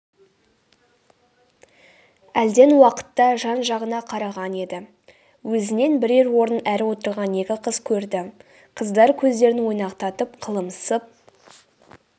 әлден уақытта жан-жағына қараған еді өзінен бірер орын әрі отырған екі қыз көрді қыздар көздерін ойнақтатып қылымсып